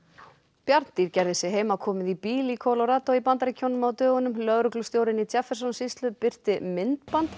bjarndýr gerði sig heimakomið í bíl í í Bandaríkjunum á dögunum lögreglustjórinn í sýslu birti myndband